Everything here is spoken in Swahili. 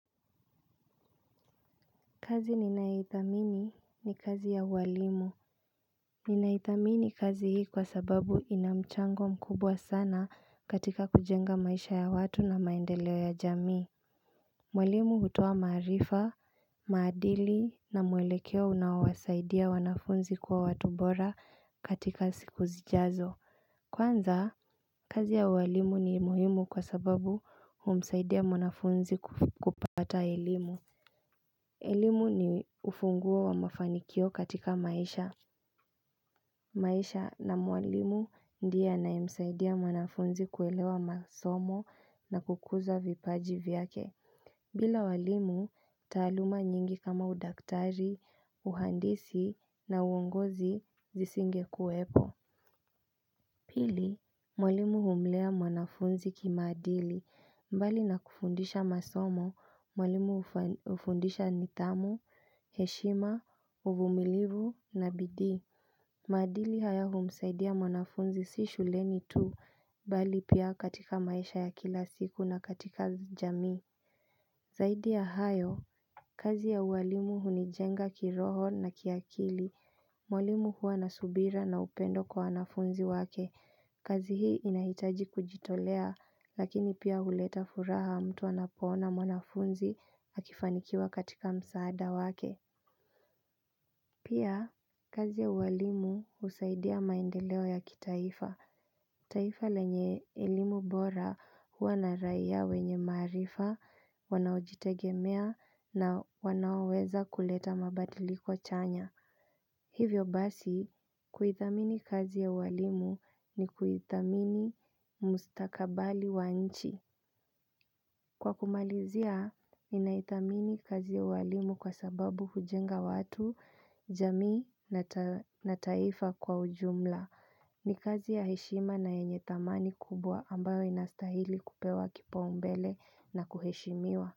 Kazi ninaithamini ni kazi ya uwalimu. Ninaithamini kazi hii kwa sababu ina mchango mkubwa sana katika kujenga maisha ya watu na maendeleo ya jamii. Walimu hutoa maarifa, maadili na mwelekeo unao wasaidia wanafunzi kwa watu bora katika siku zijazo. Kwanza, kazi ya uwalimu ni muhimu kwa sababu humsaidia wanafunzi ku kupata elimu. Elimu ni ufunguo wa mafanikio katika maisha. Maisha na mwalimu ndiye anayemsaidia mwanafunzi kuelewa masomo na kukuza vipaji vyake. Bila walimu, taaluma nyingi kama udaktari, uhandisi na uongozi zisingekuwepo. Pili, mwalimu humlea mwanafunzi kimaadili. Mbali nakufundisha masomo, mwalimu hufa hufundisha nidhamu, heshima, uvumilivu na bidii. Maadili haya humsaidia mwanafunzi si shuleni tu, bali pia katika maisha ya kila siku na katika jamii. Zaidi ya hayo, kazi ya uwalimu hunijenga kiroho na ki akili. Walimu hua na subira na upendo kwa wanafunzi wake. Kazi hi inahi taji kujitolea, lakini pia uleta furaha mtu anapo ona mwanafunzi akifanikiwa katika msaada wake. Pia, kazi ya uwalimu husaidia maendeleo ya kitaifa. Taifa lenye elimu bora hua na raia wenye maarifa, wanao jitegemea na wanaoweza kuleta mabadiliko chanya. Hivyo basi, kuithamini kazi ya walimu ni kuithamini mustakabali wa nchi. Kwa kumalizia, inaithamini kazi ya uwalimu kwa sababu hujenga watu jamii na taa taifa kwa ujumla. Ni kazi ya heshima na yenye thamani kubwa ambayo inastahili kupewa kipaumbele na kuheshimiwa.